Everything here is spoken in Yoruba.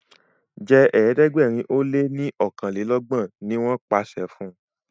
jé ẹ̀ẹ́dẹ̀gbẹ̀rin o lẹ ní okanlelogbon! ní wón pàṣẹ fún.